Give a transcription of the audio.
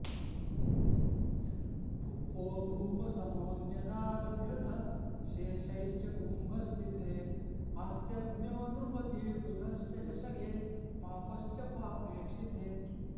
भूपो भूप समोऽन्यदार निरतः शेषैश्च कुम्भ स्थिते हास्यज्ञो नृपतिर्बुधश्च झषगे पापश्च पापेक्षिते